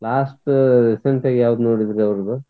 last recent ಆಗಿ ಯಾವ್ದ್ ನೋಡಿದ್ರಿ ಅವರ್ದ?